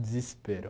Desespero.